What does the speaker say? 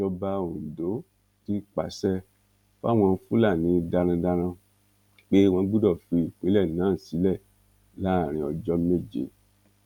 ìjọba ondo ti pàṣẹ fáwọn fúlàní darandaran pé wọn gbọdọ fi ìpínlẹ náà sílẹ láàrin ọjọ méje